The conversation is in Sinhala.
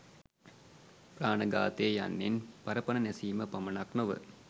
ප්‍රාණඝාතය යන්නෙන් පර පණ නැසීම පමණක් නොව